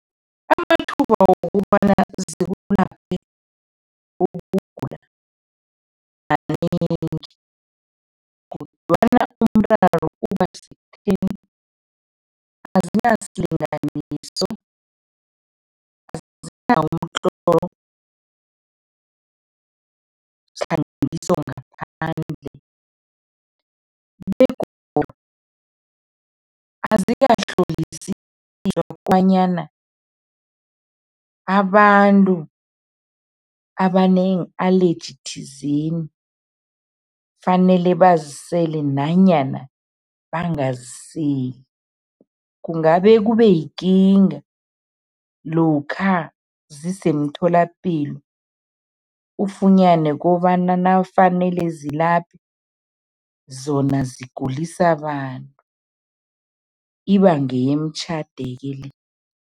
Amathuba wokobana zikulaphe ukugula kanengi kodwana umraro uba sekutheni azinasilinganiso umtlolo zihlanganiswa ngaphandle begodu azikahlolisiswa kobanyana abantu abane-allergy thizeni kufanele bazisele nanyana bangaziseli kungabe kube yikinga lokha zisemtholapilo ufunyane kobana nakufanele zilaphe zona zigulisa abantu iba ngeyemtjhade-ke le.